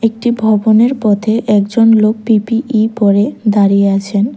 একটি ভবনের পথে একজন লোক পি_পি_ই পরে দাঁড়িয়ে আছেন।